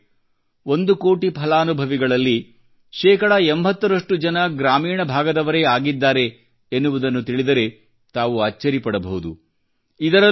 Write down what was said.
ಬಾಂಧವರೇ ಒಂದು ಕೋಟಿ ಫಲಾನುಭವಿಗಳಲ್ಲಿ ಶೇಕಡ 80ರಷ್ಟು ಜನ ಗ್ರಾಮೀಣ ಭಾಗದವರೇ ಆಗಿದ್ದಾರೆ ಎನ್ನುವುದನ್ನು ತಿಳಿದರೆ ತಾವು ಅಚ್ಚರಿ ಪಡಬಹುದು